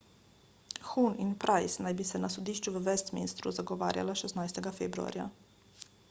huhne in pryce naj bi se na sodišču v westminstru zagovarjala 16 februarja